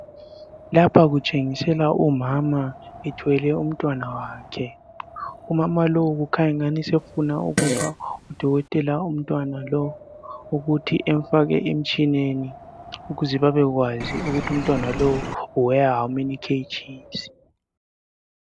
Lapha kutshengiselwa umama ethwele umntwana wakhe. Umama lowu kukhanya angathi sefuna ukupha udokotela umntwana lo ukuthi emfake emtshineni ukuze babekwazi ukuthi umntwana lowu uweya "how many KG's".